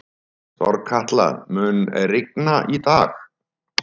Þorkatla, mun rigna í dag?